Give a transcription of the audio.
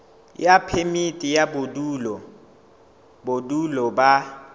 ya phemiti ya bodulo ba